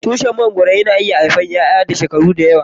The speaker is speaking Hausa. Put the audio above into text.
Tushin mangoro yana haife iyaiya na shekaru da yawa.